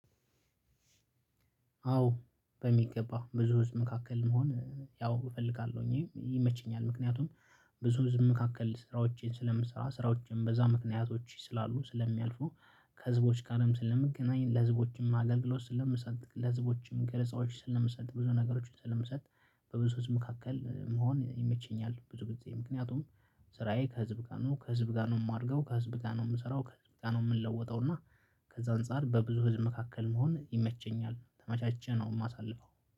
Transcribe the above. አዎ በሚገባ ብዙ ህዝብ መካከል መሆን ያው እፈልጋለሁኝ ይመችኛል ምክንያቱም ብዙ ህዝብ መካክል ስራዎቼን ስለምሰራ ስራዎቼን በዛ ምክንያቶቼ ስላሉ ስለሚያልፉ ከህዝቦች ጋርም ስለምገናኝ ለህዝቦችም አገልግሎት ስለምሰጥ ለህዝቦችም ገለጻዎችም ስለምሰጥ ብዙ ነገሮችን ስለምሰጥ በብዙ ህዝብ መካከል መሆን ይመቸኛል። ብዙ ጊዜ ምክንያቱም ስራዬ ከህዝብ ጋር ነው ከህዝብ ጋር ነው የማደርገው ከህዝብ ጋር ነው የምሰራው ከህዝብ ጋር ነው የምንለውጠው። እና ከዛ አንፃር በብዙ ህዝብ መካከል መሆን ይመቸኛል። ተማቻችን አሁን የማሳልፈው